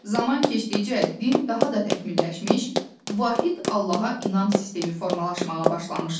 Zaman keçdikcə din daha da təkmilləşmiş, vahid allaha inam sistemi formalaşmağa başlamışdı.